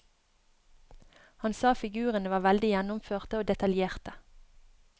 Han sa figurene var veldig gjennomførte og detaljerte.